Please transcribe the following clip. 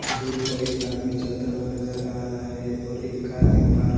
दूर पर एक आदमी चलता हुआ नजर आ रहा है और एक कार भी पार्क है।